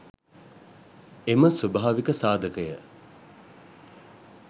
එම ස්වභාවික සාධකය